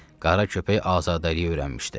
Qara köpək azadlığa öyrənmişdi.